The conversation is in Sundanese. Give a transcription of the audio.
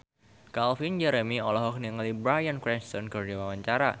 Calvin Jeremy olohok ningali Bryan Cranston keur diwawancara